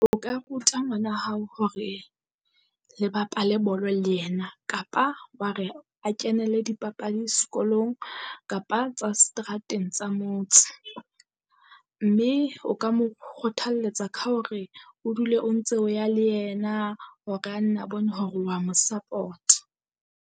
O ka ruta ngwana hao hore le bapale bolo le yena kapa wa re a kenele dipapadi sekolong kapa tsa seterateng tsa motse. Mme o ka mo kgothalletsa ka hore o dule o ntse o ya le yena hore a nne a bone hore wa mo support.